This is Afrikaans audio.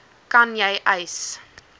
kan jy eis